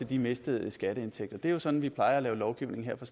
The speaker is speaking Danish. de mistede skatteindtægter det er sådan vi plejer at lave lovgivning her i